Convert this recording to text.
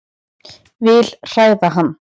Vil hræða hann.